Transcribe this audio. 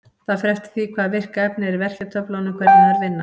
Það fer eftir því hvaða virka efni er í verkjatöflunum hvernig þær vinna.